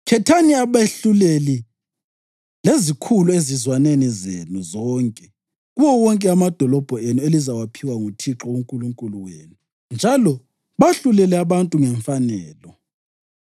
“Khethani abehluleli lezikhulu ezizwaneni zenu zonke kuwo wonke amadolobho enu elizawaphiwa nguThixo uNkulunkulu wenu, njalo bahlulele abantu ngemfanelo.